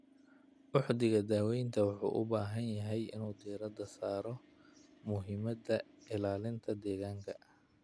Uhdhigga dadweynaha wuxuu u baahan yahay in uu diiradda saaro muhiimadda ilaalinta deegaanka.